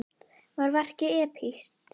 Var verkið epískt?